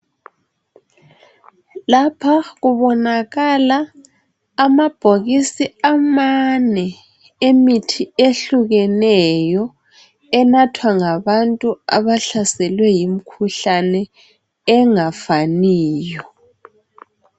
Lapha kubonakala amabhokisi amane emithi ehlukeneyo enathwa ngabantu abahlaselwe yimkhuhlane engafaniyo